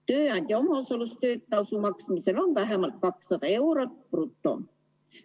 Tööandja omaosalus tasu maksmisel on vähemalt 200 eurot bruto.